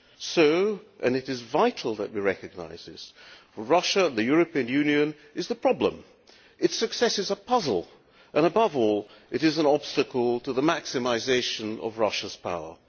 So and it is vital that we recognise this for Russia, the European Union is the problem. Its success is a puzzle and, above all, it is an obstacle to the maximisation of Russia's power.